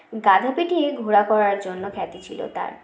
গাধা পিটিয়ে ঘোড়া করার জন্য খ্যাতি ছিল তার